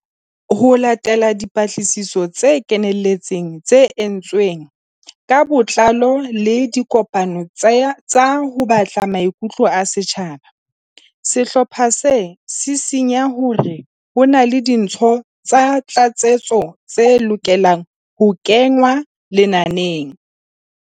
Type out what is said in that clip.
Ho latela dipatlisiso tse kenelletseng tse entsweng ka botlao le dikopano tsa ho batla maikutlo a setjhaba, sehlopha se sisinya hore ho na le dintho tsa tlatsetso tse lokelang ho kengwa lenaneng.